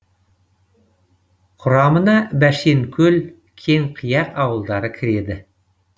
құрамына бәшенкөл кеңқияқ ауылдары кіреді